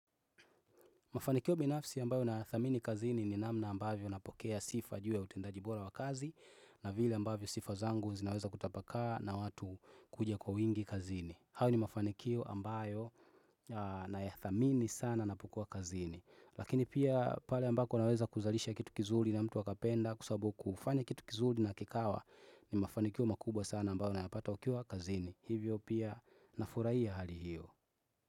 Mafanikio binafsi ambayo na ya thamini kazini ni namna ambavyo napokea sifa juu ya utendaji bora wa kazi na vile ambavyo sifa zangu zinaweza kutapaka na watu kuja kwa wingi kazini. Hayo ni mafanikio ambayo na ya thamini sana napokua kazini. Lakini pia pale ambako naweza kuzalisha kitu kizuri na mtu akapenda kusabu kufanya kitu kizuli na kikawa ni mafanikio makubwa sana ambayo na napata ukiwa kazini. Hivyo pia nafurahia ya hali hiyo.